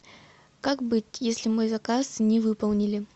как быть если мой заказ не выполнили